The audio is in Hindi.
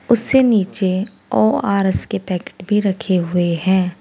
उससे नीचे ओ_आर_एस के पैकेट भी रखे हुए हैं।